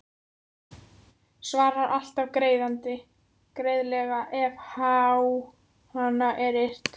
Svarar alltaf greiðlega ef á hana er yrt.